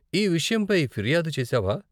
ఈ విషయంపై ఫిర్యాదు చేసావా?